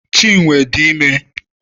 Chinwe dị ime.